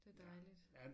Det dejligt